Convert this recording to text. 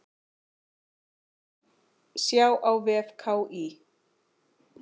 Sjá á vef KÍ.